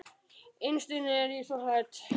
Innst inni er ég svo hrædd.